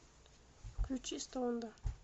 включи стоунда